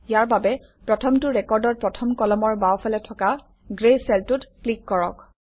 ইয়াৰ বাবে প্ৰথমটো ৰেকৰ্ডৰ প্ৰথম কলমৰ বাওঁফালে থকা গ্ৰে চেলটোত ক্লিক কৰক